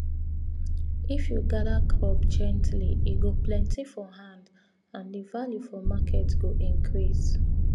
if you you gather crop gently e go plenty for hand and the value for market go increase